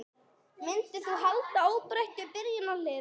Myndir þú halda óbreyttu byrjunarliði?